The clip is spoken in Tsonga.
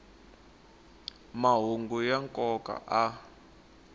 mahungu ya nkoka a